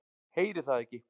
Heyri það ekki.